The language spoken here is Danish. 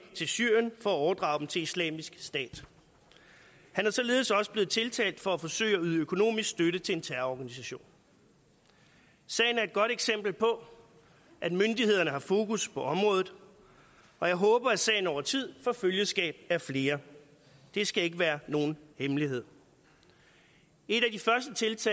til syrien for at overdrage dem til islamisk stat han er således også blevet tiltalt for at forsøge at yde økonomisk støtte til en terrororganisation sagen er et godt eksempel på at myndighederne har fokus på området og jeg håber at sagen over tid får følgeskab af flere det skal ikke være nogen hemmelighed et